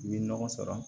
I bɛ nɔgɔ sɔrɔ